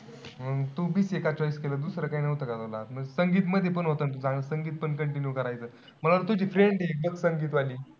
तू BCA का choice केलं? दुसरं काई नव्हतं का तुला? संगीत मध्ये पण होत ना. संगीत पण continue करायचं. मला तुझी friend ए girlfriend वाली.